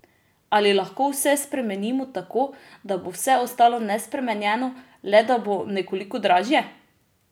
Ali lahko vse spremenimo tako, da bo vse ostalo nespremenjeno, le da bo nekoliko dražje?